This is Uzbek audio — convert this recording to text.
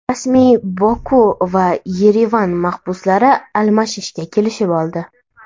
Rasmiy Boku va Yerevan mahbuslarni almashishga kelishib oldi.